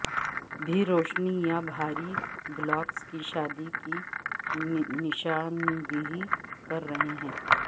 بھی روشنی یا بھاری بلاکس کی شادی کی نشاندہی کر رہے ہیں